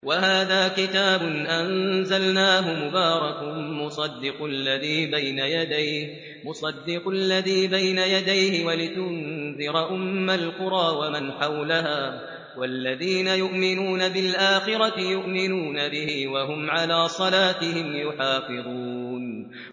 وَهَٰذَا كِتَابٌ أَنزَلْنَاهُ مُبَارَكٌ مُّصَدِّقُ الَّذِي بَيْنَ يَدَيْهِ وَلِتُنذِرَ أُمَّ الْقُرَىٰ وَمَنْ حَوْلَهَا ۚ وَالَّذِينَ يُؤْمِنُونَ بِالْآخِرَةِ يُؤْمِنُونَ بِهِ ۖ وَهُمْ عَلَىٰ صَلَاتِهِمْ يُحَافِظُونَ